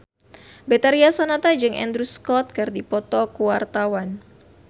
Betharia Sonata jeung Andrew Scott keur dipoto ku wartawan